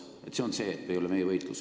Seda tähendas see, et see ei ole meie võitlus.